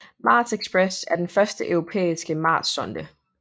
Mars Express er den første europæiske marssonde